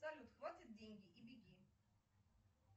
салют хватит деньги и беги